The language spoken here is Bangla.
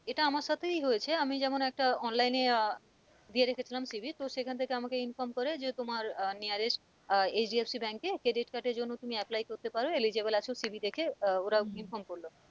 এটা আমার সাথেই হয়েছে আমি যেমন একটা online এ আহ দিয়ে রেখেছিলাম CV তো সেখান থেকে আমাকে inform করে যে তোমার আহ nearest আহ HDFC Bank এ credit card এর জন্য তুমি apply করতে পারো eligible আছো CV দেখে আহ ওরা inform করলো